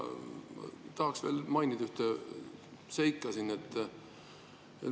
Tahaksin mainida veel ühte seika.